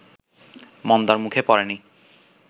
মন্দার মুখে পড়েনি